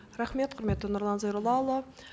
рахмет құрметті нұрлан зайроллаұлы